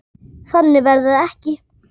Þannig verður það ekki.